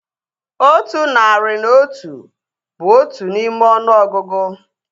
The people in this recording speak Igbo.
Otu nari na otu bụ otu n'ime ọnụọgụgụ